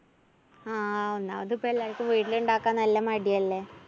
ആ ഒന്നാമത് ഇപ്പോ എല്ലാര്‍ക്കും വീട്ടിലിണ്ടാക്കാന്‍ നല്ല മടിയല്ലേ?